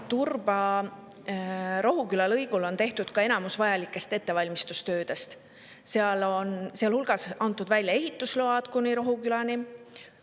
Turba-Rohuküla lõigul on tehtud enamus vajalikest ettevalmistustöödest, sealhulgas antud välja ehitusload kuni Rohukülani.